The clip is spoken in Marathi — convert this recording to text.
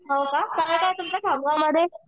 हो का? काय काय आहे तुमच्या खामगावमध्ये?